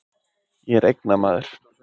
Ég er eignamaður.